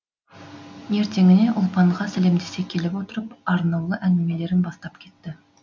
ертеңіне ұлпанға сәлемдесе келіп отырып арнаулы әңгімелерін бастап кетті